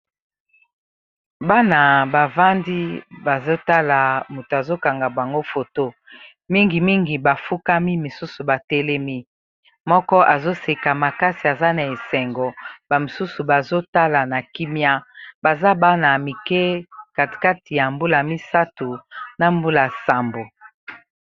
Bana bavandi bazotala moto azokanga bango foto mingi mingi bafukami misusu batelemi moko azo seka makasi aza na esengo ba mosusu bazotala na kimia baza bana mike kati kati ya mbula misato na mbula nsambo.